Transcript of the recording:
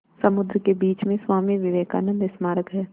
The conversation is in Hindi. समुद्र के बीच में स्वामी विवेकानंद स्मारक है